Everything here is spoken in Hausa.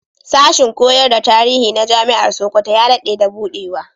Sashin koyar da tarihi na Jami'ar Sokoto ya daɗe da buɗewa.